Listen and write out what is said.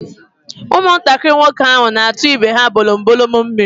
Ụmụntakịrị nwoke ahụ na-atu ibe ha bolombolom mmiri.